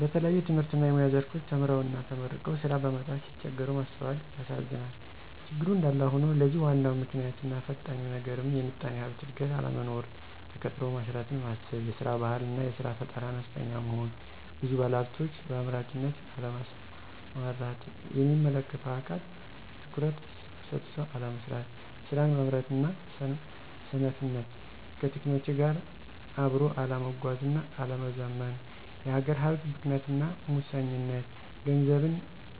በተለያየ የትምህርትና የሙያ ዘርፎች ተምረውና ተመርቀው ስራ በማጣት ሲቸገሩ ማስተዋላል ያሳዝናል። ችግሩ እንዳለ ሆኖ ለዚህ ዋናው ምክንያትና ፈታኙ ነገርም የምጣኔ ሀብት እድገት አለመኖር፣ ተቀጥሮ መስራትን ማሰብ፤ የስራ ባህል አና የስራ ፈጠራ አነስተኛ መሆን፤ ብዙ ባለሀብቶች በአምራችነት አለመሰማራት፤ የሚመለከተው አካል ትኩረት ሰጥቶ አለመስራት፤ ስራን ማምረጥና ሰነፍነት፣ ከቴክኖሎጂ ጋራ አብኖ አለመጓዝና አለመዘመን፤ የሀገር ሀብት ብክነትና ሙሰኝነት፣ ገንዘብን